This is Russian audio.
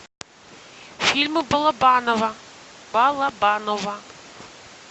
фильмы балабанова балабанова